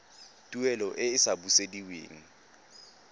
tuelo e e sa busediweng